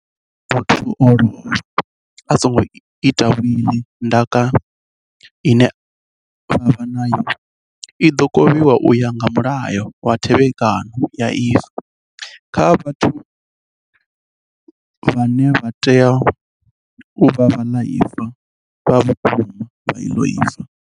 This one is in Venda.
Arali muthu a lovha a songo ita wiḽi ndaka ine vha vha vha nayo i ḓo kovhiwa u ya nga Mulayo wa Thevhek ano ya Ifa, kha vhathu vhane vha tea u vha vhaḽaifa vha vhukuma vha ifa iḽo.